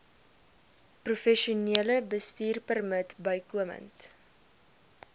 professionele bestuurpermit bykomend